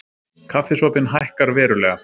Kaffisopinn hækkar verulega